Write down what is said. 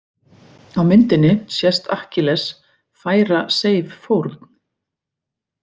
Á myndinni sést Akkilles færa Seif fórn.